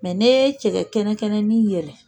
Mɛ n'i ye cɛkɛ kɛnɛ kɛnɛnin yɛlɛ